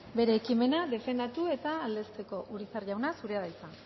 bere ekimena defendatu eta aldezteko urizar jauna zurea da hitza